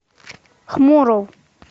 хмуров